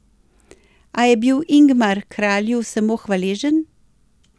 A je bil Ingmar kralju samo hvaležen.